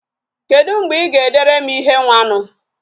kedu mgbe I ga-edere m ihe nwanu?